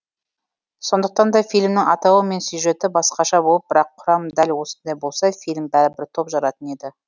сондықтан да фильмнің атауы мен сюжеті басқаша болып бірақ құрам дәл осындай болса фильм бәрібір топ жаратын еді